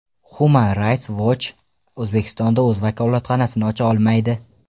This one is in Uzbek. Human Rights Watch O‘zbekistonda o‘z vakolatxonasini ocha olmaydi.